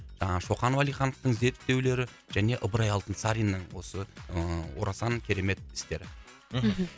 жаңағы шоқан уалихановтың зерттеулері және ыбырай алтынсаринның осы ыыы орасан керемет істері мхм